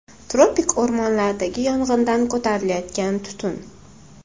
Tropik o‘rmonlardagi yong‘indan ko‘tarilayotgan tutun.